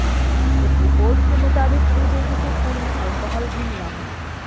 कुछ रिपोर्ट्स के मुताबिक श्रीदेवी के खून में अल्कोहल भी मिला है